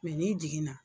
n'i jiginna